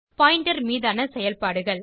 pointer மீதான செயல்பாடுகள்